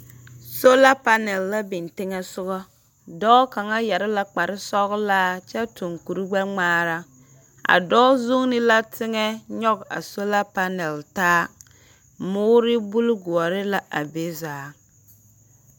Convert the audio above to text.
Sola panɛl la biŋ teŋɛ soga. Dɔɔ kaŋa yɛre la kpare sɔgelaa kyɛ toŋ kuri gbɛŋmaara a dɔɔ zuŋini la teŋɛ a nyɔge a sola panɛl taa. Moore buli goɔre la be zaa.